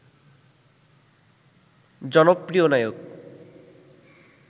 জনপ্রিয় নায়ক